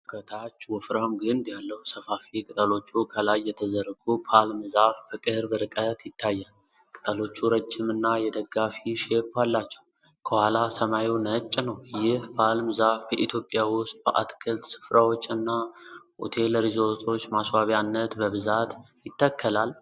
ከታችወፍራም ግንድ ያለው፣ ሰፋፊ ቅጠሎቹ ከላይ የተዘረጉ ፓልም ዛፍ በቅርብ ርቀት ይታያል። ቅጠሎቹ ረጅም እና የደጋፊ ሼፕ አላቸው። ከኋላ ሰማዩ ነጭ ነው። ይህ ፓልም ዛፍ በኢትዮጵያ ውስጥ በአትክልት ስፍራዎች እና ሆቴል ሪዞርቶች ማስዋቢያነት በብዛት ይተከላል?